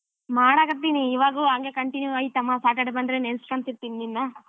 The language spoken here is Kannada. ಮಾಡಕ್ಕತ್ತಿನಿ ಇವಾಗು ಹಂಗೆ continue ಐತ್ ಅಮ್ಮ Saturday ಬಂದ್ರೆ ನೆನ್ಸ್ಕೊಂತಿರ್ತೀನಿ ನಿನ್ನ.